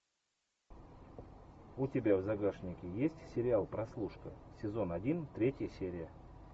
у тебя в загашнике есть сериал прослушка сезон один третья серия